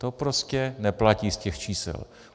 To prostě neplatí z těch čísel.